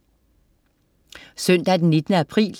Søndag den 19. april